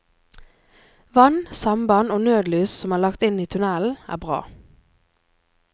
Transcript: Vann, samband og nødlys som er lagt inn i tunnelen er bra.